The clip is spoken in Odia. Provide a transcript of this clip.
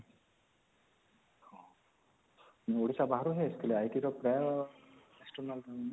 ଓଡିଶା ବାହାରୁ ହିଁ ଆସିଥିଲେ IT ର ପ୍ରାୟ external